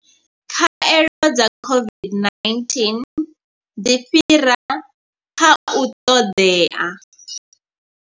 Khaelo dza COVID-19 dzi fhira kha u ṱoḓea.